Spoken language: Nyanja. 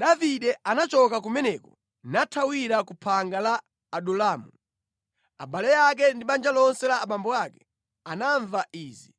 Davide anachoka kumeneko nathawira ku phanga la Adulamu. Abale ake ndi banja lonse la abambo ake anamva izi,